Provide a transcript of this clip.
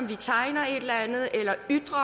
vi tegner et eller andet eller ytrer